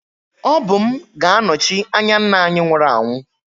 Ọ bụ m ga-anọchi anya nna anyị nwụrụ anwụ